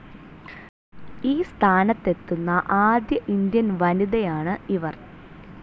ഈ സ്ഥാനത്തു എത്തുന്ന ആദ്യ ഇന്ത്യൻ വനിതയാണ് ഇവർ.